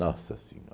Nossa